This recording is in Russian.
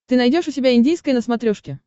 ты найдешь у себя индийское на смотрешке